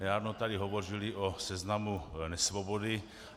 Nedávno tady hovořili o seznamu nesvobod.